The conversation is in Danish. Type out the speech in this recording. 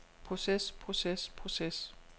proces proces proces